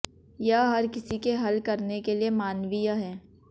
यह हर किसी के हल करने के लिए मानवीय है